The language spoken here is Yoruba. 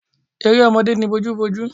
Eré ọmọdé ni bojúbojú